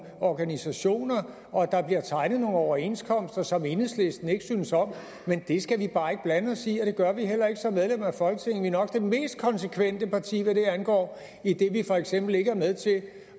organisationer og at der bliver tegnet nogle overenskomster som enhedslisten ikke synes om men det skal vi bare ikke blande os i og det gør vi heller ikke som medlemmer af folketinget nok det mest konsekvente parti hvad det angår idet vi for eksempel ikke var med til at